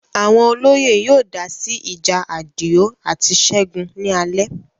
Àwọn olóyè yóò dá sí ìjà Àdìó àti Ṣẹ́gun ni alẹ́